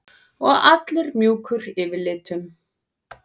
Og allur mjúkur yfirlitum.